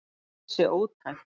Það sé ótækt.